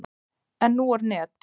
En nú er net.